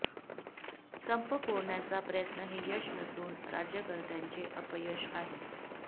संप फोडण्याचा प्रयत्न हे यश नसून राज्यकर्त्यांचे अपयश आहे